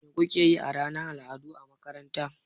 Me kuke yi a ranar al'adu a makaranta?